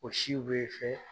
O siw bɛ fɛ